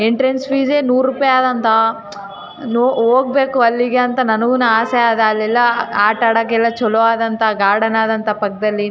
ನನ್ನ ಮಗಳಿಗೆ ಕರ್ಕೊಂಡ್ ಹೋಕ್ಕ್ತಿನಿ ಮಮ್ಮಗಳಿಗೆ. ಅಕಿನೂ ಆಡ್ತಾಳ ಜಾರಿಬಂಡಿ ಅವು ಇವು ಇರ್ತಾವಲ ಆಟ ಆಡೋದು. ಅದೆಲ್ಲಾ ಆಡಿ ಖುಷಿ ಪಡ್ತಾಳೆ.